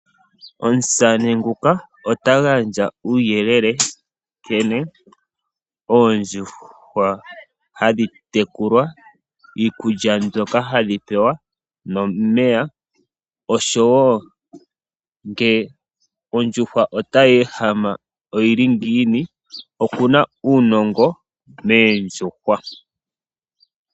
Omusamane nguka ota gandja uuyelele nkene oondjuhwa hadhi tekulwa, iikulya mbyoka hadhi pewa nomeya osho wo ngee ondjuhwa otayehama oyili ngiini. Okuna uunongo moondjuhwa.